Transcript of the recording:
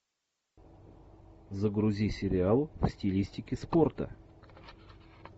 загрузи сериал в стилистике спорта